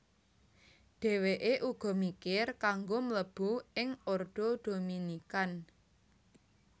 Dheweke uga mikir kanggo mlebu ing Ordo Dominican